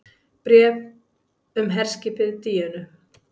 BRÉF UM HERSKIPIÐ DÍÖNU